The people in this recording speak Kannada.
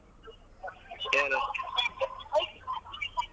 ಏನು ಆ ಸರಿ.